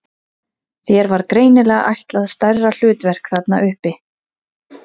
Þér var greinilega ætlað stærra hlutverk þarna uppi!